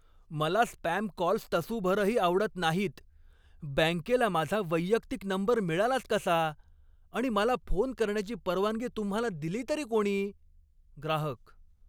मला spam calls तसूभरही आवडत नाहीत. बँकेला माझा वैयक्तिक नंबर मिळालाच कसा आणि मला फोन करण्याची परवानगी तुम्हाला दिली तरी कोणी? ग्राहक